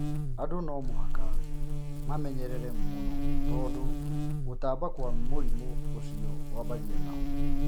Andũ no mũhaka mamenyerere mũno tondũ gũtamba kwa mũrimũ ũcio wambagia nao